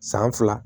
San fila